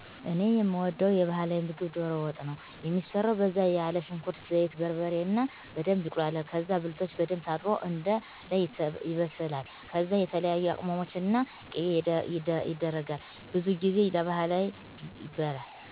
እኔ የምወደዉ የባህላዊ ምግብ ዶሮ ወጥ ነው። የሚሰራው በዛ ያለ ሽንኩርት፣ ዘይት፣ በርበሬ እና በደንብ ይቁላላል ከዛ ብልቶች በደንብ ታጥቦ አንደ ላይ ይበስላል ከዛ የተለያዬ ቅመሞች እና ቂቤ የደረጋል። ብዙ ጊዜ ለባህል ይበላል።